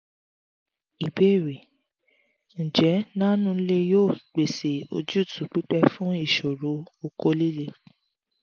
ìbéèrè: njẹ nano-leo yoo pese ojutu pipe fun iṣoro okó lile?